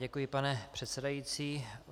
Děkuji, pane předsedající.